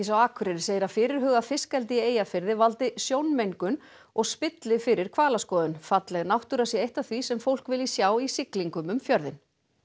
á Akureyri segir að fyrirhugað fiskeldi í Eyjafirði valdi sjónmengun og spilli fyrir hvalaskoðun falleg náttúra sé eitt af því sem fólk vilji sjá í siglingum um fjörðinn